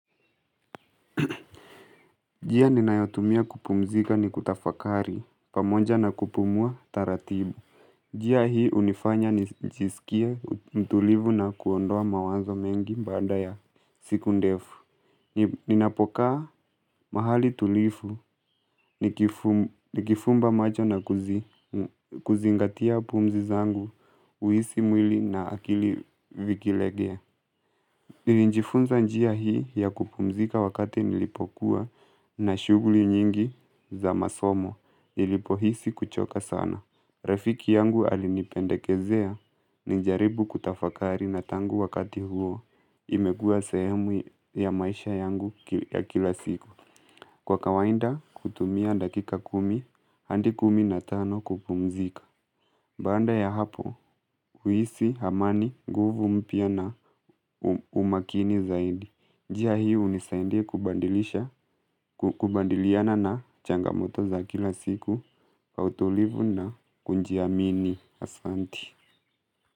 Njia ninayotumia kupumzika ni kutafakari, pamoja na kupumua taratibu. Njia hii unifanya nijisikie mtulivu na kuondoa mawanzo mengi baada ya siku ndefu. Ninapokaa mahali tulivu nikifumba macho na kuzingatia pumzi zangu uhisi mwili na akili vikilegea. Nilijifunza njia hii ya kupumzika wakati nilipokuwa na shughuli nyingi za masomo nilipohisi kuchoka sana. Rafiki yangu alinipendekezea nijaribu kutafakari na tangu wakati huo imekuwa sehemu ya maisha yangu ya kila siku. Kwa kawaida, hutumia dakika kumi, hadi kumi na tano kupumzika. Baada ya hapo, uhisi, amani, nguvu mpya na umakini zaidi. Njia hii unisaidia kubalidisha kubadiliana na changamoto za kila siku, kwa utulivu na kujiamini asanti.